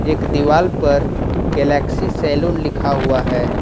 एक दीवाल पर गैलेक्सी सैलून लिखा हुआ है।